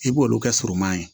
I b'olu kɛ suruman ye